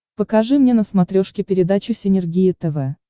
покажи мне на смотрешке передачу синергия тв